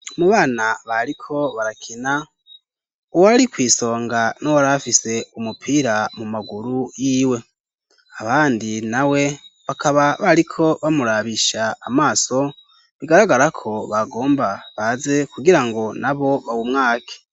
Mu bana bariko barakina uwo ari kw'isonga n'uwari bafise umupira mu maguru y'iwe abandi na we bakaba bariko bamurabisha amaso bigaragara ko bagomba baze kugira ngo na bo bawumwake.